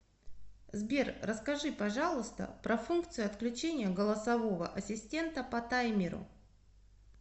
сбер расскажи пожалуйста про функцию отключения голосового ассистента по таймеру